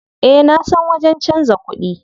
Eh nasan wajen canza kuɗi.